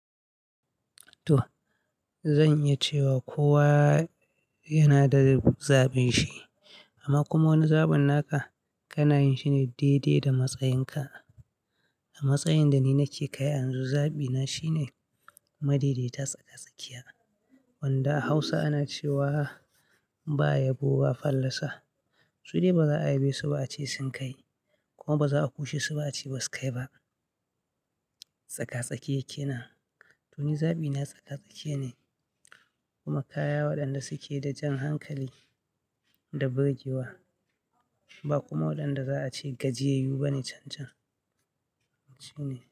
To, zan iya cewa kowa yana da zaɓin shi amma kuma wani zaɓin naka kana yin shi ne daidai da matsayin ka. A matsayin da ni nake kai an zabi na shine madaidaita tsaka-tsakiya. Wanda a Hausa ana cewa ba yabo ba fallasa. Sai dai baza a yebe su ba, a ce sun kai kuma baza'a kushe su ba a ce ba su kai ba. Tsaka-tsake kenan. To ni zaɓina tsaka-tsakiya ne kuma kaya waɗanda suke da jan hankali da burgewa, ba kuma waɗanda za'a ce gajiyayyu bane cancan. Shi ne.